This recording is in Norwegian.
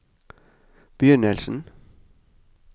begynnelsen